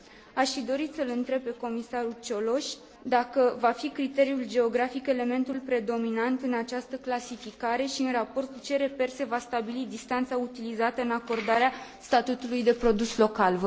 Aș fi dorit să l întreb pe comisarul Cioloș dacă va fi criteriul geografic elementul predominant în această clasificare și în raport cu ce reper se va stabili distanța utilizată în acordarea statutului de produs local.